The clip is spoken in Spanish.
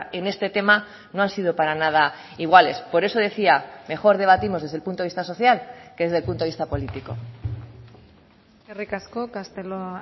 en este tema no han sido para nada iguales por eso decía mejor debatimos desde el punto de vista social que desde el punto de vista político eskerrik asko castelo